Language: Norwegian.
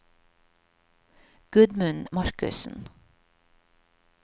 Gudmund Markussen